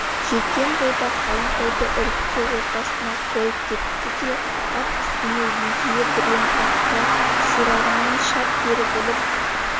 жеткен бойда қалың қойды үркіте ортасына қойып кетті де ат үстінен еңкейе біреуін артқы сирағынан шап беріп іліп